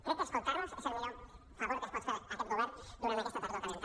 crec que escoltar·los és el millor favor que es pot fer aquest govern durant aquesta tardor calenta